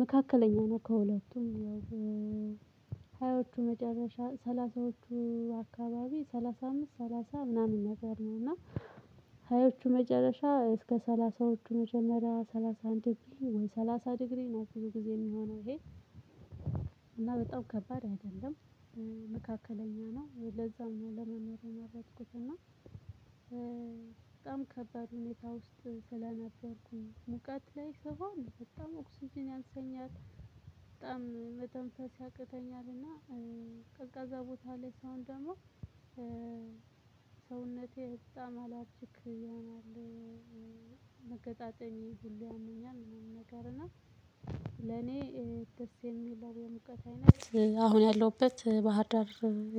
መካከለኛ ነው ከሁለቱም ያው ሀያዎቹ መጨረሻ ሰላሳዎቹ አካባቢ ሰላሳ አምስት ሰላሳ ምናምን ነገር ነው። እና ሃያዎቹ ሀያዎቹ መጨረሻ እስከ ሰላሳዎቹ መጀመሪያ ሰላሳ አንድ ወይ ሰላሳ ዲግሪ ነው ብዙ ጊዜ የሚሆነው ይሄ። እና በጣም ከባድ አይደለም መካከለኛ ነው። ለዛ ለመኖር ለመመር የመረጥኩት እና በጣም ከባድ ሁኔታ ውስጥ ስለነበርኩኝ ሙቀት ላይ ስሆን በጣም ኦክስጅን ያንሰኛል በጣም መተንፈስ ያቅተኛልና። ቀዝቃዛ ቦታ ላይ ሰሆን ደግሞ ሰውነቴ በጣም አላርጅክ ይሆናል። መገጣጠሚያዬን ሁሉ ያመኛል። ምናምን ነገር እና ለኔ አሁን ያለሁበት ባህር ዳር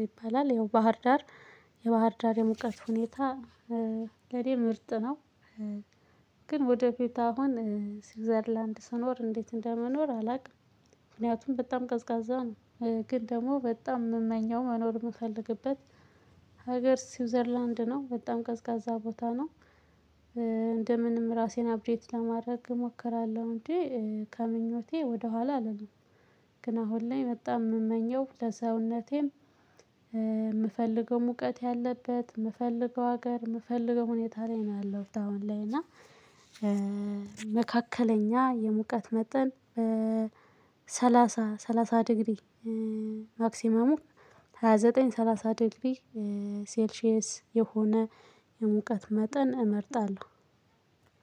ይባላል ይኸው ባህር ዳር የባህር ዳር የሙቀት ሁኔታ ለእኔ ምርጥ ነው። ግን ወደ ቤት አሁን ስዊዘርላንድ ስኖር እንዴት እንደምኖር አላውቅም። ምክንያቱም በጣም ቀዝቃዛ ነው። ግን ደግሞ በጣም የምመኘው መኖር የምፈልግበት ሀገር ስዊዘርላንድ ነው በጣም ቀዝቃዛ ቦታ ነው። እንደምንም ራሴን አፕዴት ለማድረግ እሞክራለሁ እንጂ ከምኞቴ ወደኋላ አላልም። ግን አሁን ላይ በጣም የምመኘው ለሰውነቴም የምፈልገው ሙቀት ያለበት የምፈልገው ሀገር የምፈልገው ሁኔታ ላይ ነው ያለውት አሁን ላይ። እና የሙቀት መጠን በሰላሳ ሰላሳ ዲግሪ ማክሲመሙ ሃያ ዘጠኝ ሰላሳ ድግሪ ሴልሺየስ የሆነ የሙቀት መጠን እመርጣለሁ